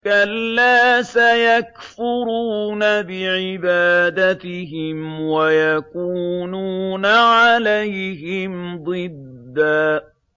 كَلَّا ۚ سَيَكْفُرُونَ بِعِبَادَتِهِمْ وَيَكُونُونَ عَلَيْهِمْ ضِدًّا